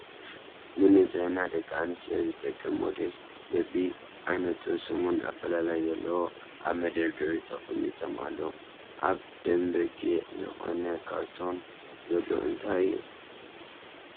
ንንፅህና ደቂ ኣንስትዮ ዝጠቅም ሞዴስ በቢ ዓይነቱን ስሙን ኣፈላላይ ዘለዎ ኣብ መደርደሪ ተቀሚጦም ኣለዉ። ኣብ ደም በጊዕ ዝኮነ ካርቶን ዘሎ እንታይ እዩ?